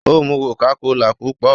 ó mù cocacola púpọ